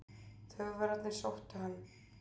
Þjóðverjarnir sóttu hann.